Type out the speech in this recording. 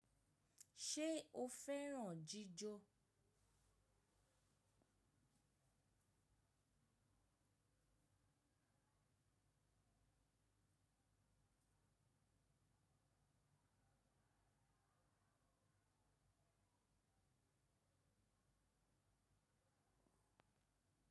Ṣé o fẹ́ràn jíjó?